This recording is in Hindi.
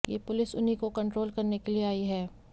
ये पुलिस उन्ही को कंट्रोल करने के लिए आई है